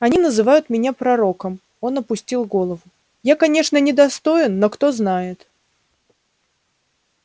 они называют меня пророком он опустил голову я конечно недостоин но кто знает